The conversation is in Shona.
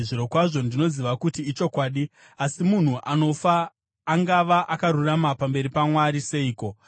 “Zvirokwazvo ndinoziva kuti ichokwadi. Asi munhu anofa angava akarurama pamberi paMwari seiko?